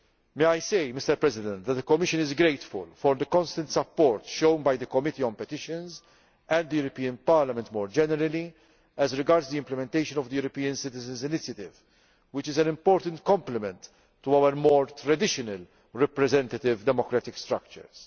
May I say, Mr President, that the Commission is grateful for the constant support shown by the Committee on Petitions, and by the European Parliament more generally, as regards the implementation of the European Citizens' Initiative, which is an important complement to our more traditional representative democratic structures.